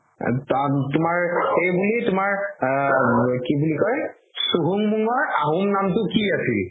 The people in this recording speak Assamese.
তুমাৰ এইবুলি তুমাৰ আ কি বুলি কয় আহোম নামটো কি আছিল